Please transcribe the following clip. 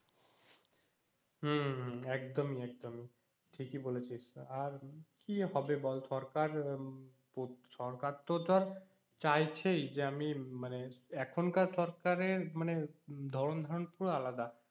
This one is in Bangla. হম হম হম একদমই একদমই ঠিকই বলেছিস আর কি হবে বল সরকার সরকার তো ধর চাইছেই যে আমি মানে এখনকার সরকারের মানে ধরন ধারণ পুরো আলাদা